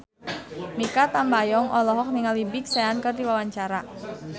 Mikha Tambayong olohok ningali Big Sean keur diwawancara